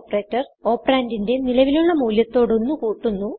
operator operand ന്റിന്റെ നിലവിലുള്ള മൂല്യത്തോട് ഒന്ന് കൂട്ടുന്നു